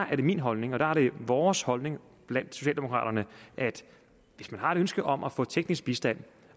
er det min holdning og der er det vores holdning blandt socialdemokraterne at hvis man har et ønske om at få teknisk bistand